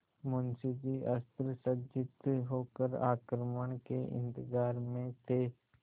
मुंशी जी अस्त्रसज्जित होकर आक्रमण के इंतजार में थे